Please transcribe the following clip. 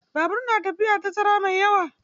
Babur na tafiya tazara mai yawa.